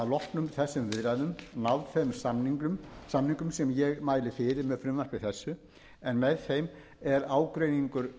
loknum þessum viðræðum náð þeim samningum sem ég mæli fyrir með frumvarpi þessu en með þeim er ágreiningur